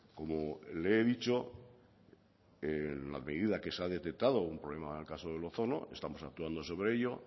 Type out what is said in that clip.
como le he dicho en la medida que se ha detectado un problema en el caso del ozono estamos actuando sobre ello